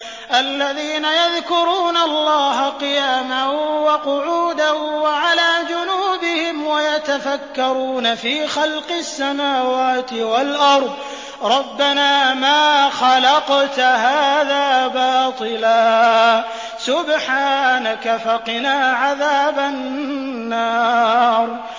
الَّذِينَ يَذْكُرُونَ اللَّهَ قِيَامًا وَقُعُودًا وَعَلَىٰ جُنُوبِهِمْ وَيَتَفَكَّرُونَ فِي خَلْقِ السَّمَاوَاتِ وَالْأَرْضِ رَبَّنَا مَا خَلَقْتَ هَٰذَا بَاطِلًا سُبْحَانَكَ فَقِنَا عَذَابَ النَّارِ